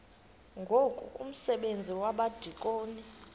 ngoku umsebenzi wabadikoni